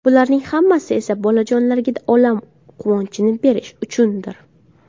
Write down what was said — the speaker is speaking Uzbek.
Bularning hammasi esa bolajonlarga olam quvonchini berish uchundir.